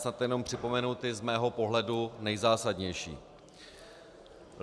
Snad jenom připomenu ty z mého pohledu nejzásadnější.